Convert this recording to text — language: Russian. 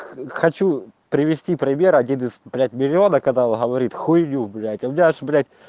х хочу привести пример один из блять миллиона когда он говорит хуйню блять у меня аж блять